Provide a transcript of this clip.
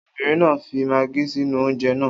Obìnrin náà fi magí sínú oúnjẹ náà.